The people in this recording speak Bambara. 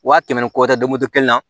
Wa kɛmɛ ni kɔ tɛ moto kelen na